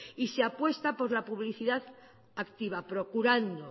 y se apuesta por la publicidad activa procurando